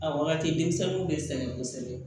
A wagati denmisɛnninw bɛ sɛgɛn kosɛbɛ